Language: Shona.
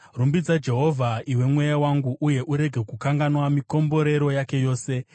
Rumbidza Jehovha, iwe mweya wangu, uye urege kukanganwa mikomborero yake yose,